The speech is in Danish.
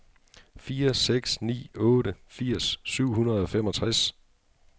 fire seks ni otte firs syv hundrede og femogtres